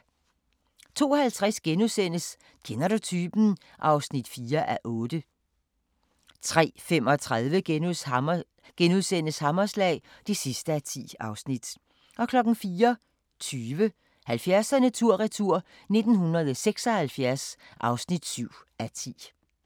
02:50: Kender du typen? (4:8)* 03:35: Hammerslag (10:10)* 04:20: 70'erne tur-retur: 1976 (7:10)